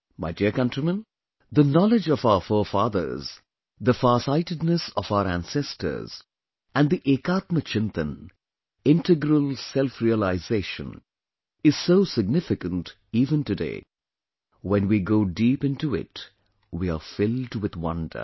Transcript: My dear countrymen, the knowledge of our forefathers, the farsightedness of our ancestors and the EkAtmaChintan, integral self realisation is so significant even today; when we go deep into it, we are filled with wonder